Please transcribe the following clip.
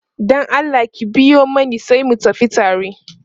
Dan Allah ki biyo Mani sai mu tafi tare